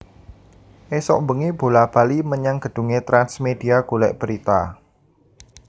Isuk mbengi bola bali menyang gedhunge Trans Media golek berita